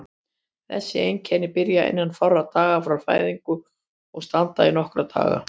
Þessi einkenni byrja innan fárra daga frá fæðingu og standa í nokkra daga.